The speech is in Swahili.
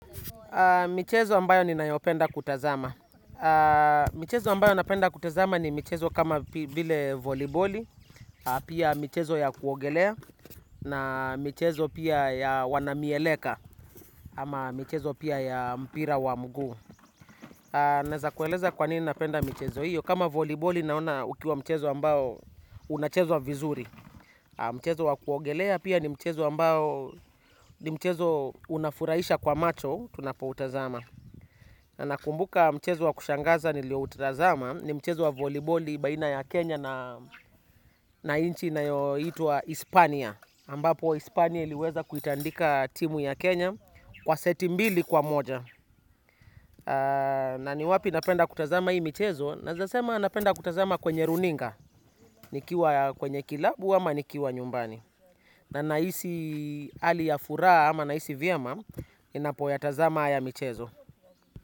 Michezo ambayo ninayopenda kutazama. Michezo ambayo napenda kutazama ni michezo kama vile voliboli, pia michezo ya kuogelea, na michezo pia ya wana mieleka, ama michezo pia ya mpira wa mguu. Na za kueleza kwanini napenda mchezo hiyo kama voliboli naona ukiwa mchezo ambao unachezwa vizuri. Mchezo wa kuogelea pia ni mchezo ambao ni mchezo unafurahisha kwa macho tunapo utazama. Na nakumbuka mchezo wa kushangaza nilio utazama ni mchezo wa voliboli baina ya Kenya na nchi inayo itwa Hispania ambapo Hispania iliweza kuitandika timu ya Kenya kwa seti mbili kwa moja. Na ni wapi napenda kutazama hii mchezo. Nawezasema napenda kutazama kwenye runinga. Nikiwa kwenye kilabu ama nikiwa nyumbani. Na nahisi ali ya furaha ama nahisi vyema ninapo ya tazama haya mchezo.